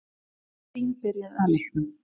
Fín byrjun á leiknum.